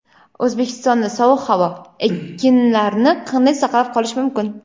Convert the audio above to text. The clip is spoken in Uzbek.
O‘zbekistonda sovuq havo: ekinlarni qanday saqlab qolish mumkin?.